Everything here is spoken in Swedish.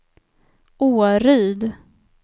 Åryd